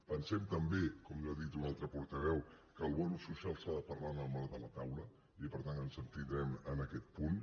pensem també com ja ha dit un altre portaveu que el bonus social s’ha de parlar en el marc de la taula i per tant ens abstindrem en aquest punt